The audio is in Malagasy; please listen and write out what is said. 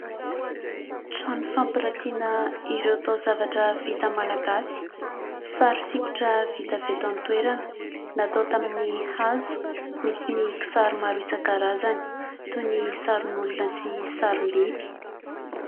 Trano fampiratiana ireo taozavatra vita malagasy. Sary sokitra vita avy eto an-toerana natao tamin'ny hazo. Misy ny kisary maro isan-karazany toy ny sarin'olona sy sarim-biby.